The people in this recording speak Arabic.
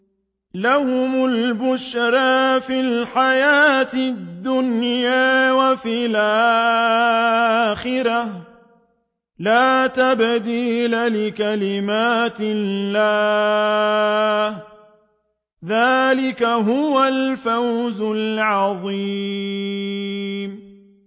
لَهُمُ الْبُشْرَىٰ فِي الْحَيَاةِ الدُّنْيَا وَفِي الْآخِرَةِ ۚ لَا تَبْدِيلَ لِكَلِمَاتِ اللَّهِ ۚ ذَٰلِكَ هُوَ الْفَوْزُ الْعَظِيمُ